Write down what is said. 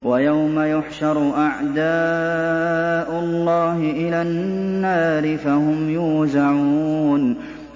وَيَوْمَ يُحْشَرُ أَعْدَاءُ اللَّهِ إِلَى النَّارِ فَهُمْ يُوزَعُونَ